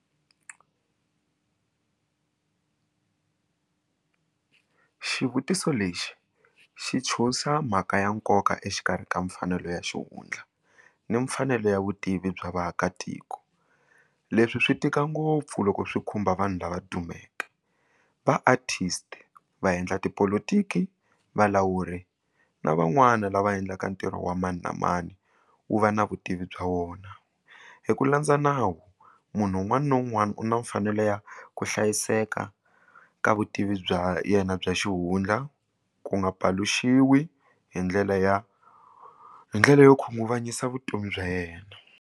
Xivutiso lexi xi tshuxa mhaka ya nkoka exikarhi ka mfanelo ya xihundla na mfanelo ya vutivi bya vaakatiko leswi swi tika ngopfu loko swi khumba vanhu lava dumeke va artist va endla tipolotiki valawuri na van'wani lava endlaka ntirho wa mani na mani wu va na vutivi bya wona hi ku landza nawu munhu un'wana na un'wana u na mfanelo ya ku hlayiseka ka vutivi bya yena bya xihundla ku nga paluxiwi hi ndlela ya hi ndlela yo khunguvanyisa vutomi bya yena.